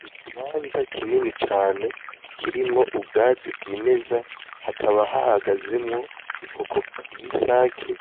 Mu kibanza kinini cane kirimwo ubwatsi bw'imeza hakaba hahagazemwo inkoko y'isake